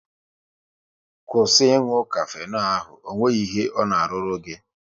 Kwụsị ị nụ kafenol ahụ! Ọ nweghị ihe ọ na-arụru gị